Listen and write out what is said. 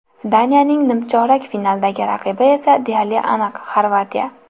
Daniyaning nimchorak finaldagi raqibi esa deyarli aniq Xorvatiya.